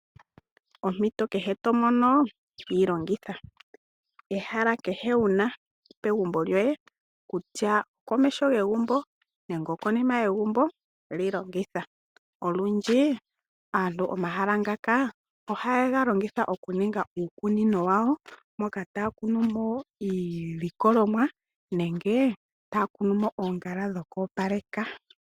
Ompito kehe to mono yi longitha. Ehala kehe wu na pegumbo lyoye kutya okomeho gegumbo nenge okonima yegumbo, li longitha. Olundji aantu omahala ngaka ohaye ga longitha okuninga uukunino wayo, moka taya kunu mo iilikolomwa nenge taya kunu mo oongala dhoku opaleka.